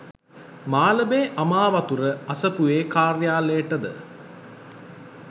මාලඹේ අමාවතුර අසපුවේ කාර්යාලයට ද